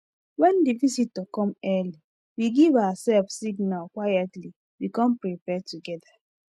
when the visitor come early we give ourself signal quietly we come prepare together